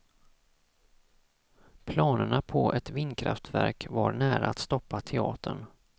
Planerna på ett vindkraftverk var nära att stoppa teatern.